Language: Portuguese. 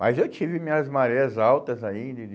Mas eu tive minhas marés altas aí de de...